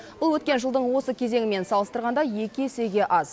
бұл өткен жылдың осы кезеңімен салыстырғанда екі есеге аз